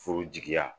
Furu jigiya